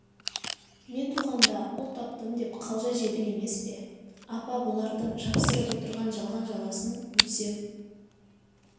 мен туғанда ұл таптым деп қалжа жедің емес пе апа бұлардың жапсырып отырған жалған жаласын өлсем